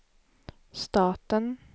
staten